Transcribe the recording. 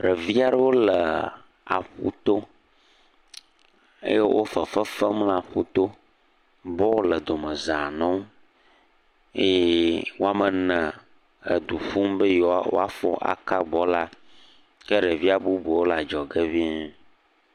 Ɖevi aɖewo le aƒu to eye wo fefe fem le aƒu to, bɔl le domeza newo eye woame ene edu ƒum be yewo afɔ naka bɔla, ke ɖevia bubuwo le adzɔge ŋii.